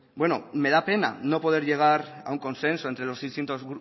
me da pena no poder llegar a un consenso entre los distintos